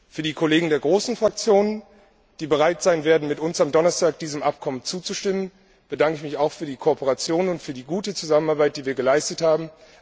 Für die Kollegen der großen Fraktionen, die bereit sein werden, mit uns am Donnerstag diesem Abkommen zuzustimmen, bedanke ich mich auch für die Kooperation und für die gute Zusammenarbeit, die wir geleistet haben.